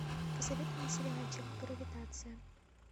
посоветуй мне сериальчик гравитация